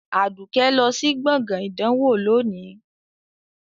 Aduke lọ sí gbọ̀ngàn ìdánwò lónìí